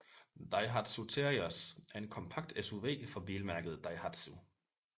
Daihatsu Terios er en kompakt SUV fra bilmærket Daihatsu